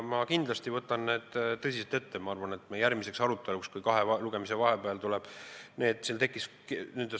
Ma võtan need kindlasti tõsiselt ette.